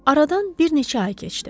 Aradan bir neçə ay keçdi.